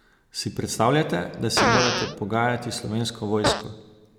Si predstavljate, da se morate pogajati s Slovensko vojsko?